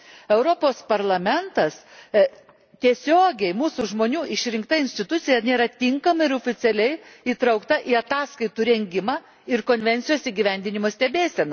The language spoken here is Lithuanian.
Europos Parlamentas, tiesiogiai mūsų žmonių išrinkta institucija, nėra tinkamai ir oficialiai įtraukta į ataskaitų rengimą ir konvencijos įgyvendinimo stebėseną.